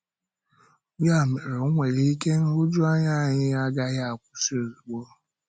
Yà mere, ọ nwere ike nhụjuanya anyị agaghị akwụsị ozugbo.